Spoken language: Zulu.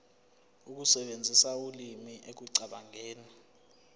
ukusebenzisa ulimi ekucabangeni